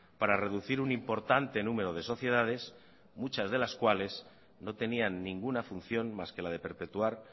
para reducir un importante número de sociedades muchas de las cuales no tenían ninguna función más que la de perpetuar